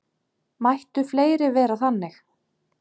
Mættu fleiri vera þannig.